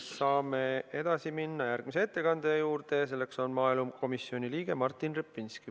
Saame edasi minna järgmise ettekandja juurde ja selleks on maaelukomisjoni liige Martin Repinski.